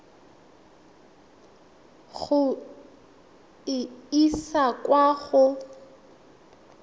go e isa kwa go